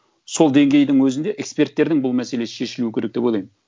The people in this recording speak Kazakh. сол деңгейдің өзінде эксперттердің бұл мәселесі шешілу керек деп ойлаймын